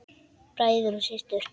Bræður og systur!